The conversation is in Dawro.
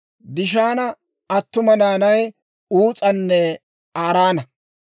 Dishaana attuma naanay Uus'anne Araana.